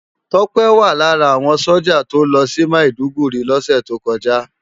Tope wá lárà áwòn sójá tó lòsi Mádúgùri lòsè tókòjá